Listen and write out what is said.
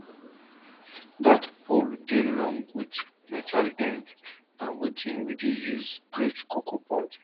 that pole dey long with metal end na wetin we dey use break cocoa pod